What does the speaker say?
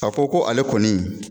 A ko ko ale kɔni.